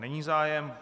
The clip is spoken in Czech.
Není zájem.